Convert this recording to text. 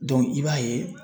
i b'a ye